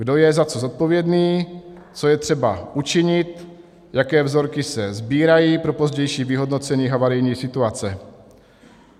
Kdo je za co zodpovědný, co je třeba učinit, jaké vzorky se sbírají pro pozdější vyhodnocení havarijní situace.